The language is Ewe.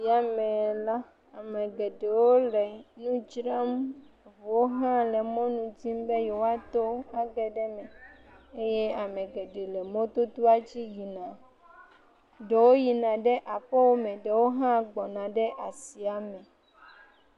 Le eya me la, ame geɖewo le nu dzram, eŋuwo hã la mɔnu dzi be yewoato age ɖe eme, eye ame geɖewo le mɔdodoa dzi yina, ɖewo yina ɖe aƒewo me eye ɖewo hã gbɔna ɖe asiame.